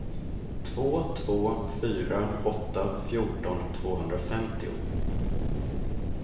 två två fyra åtta fjorton tvåhundrafemtio